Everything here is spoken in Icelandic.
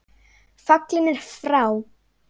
Fallinn er frá.